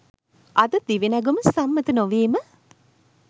අද දිවිනැගුම සම්මත නොවීම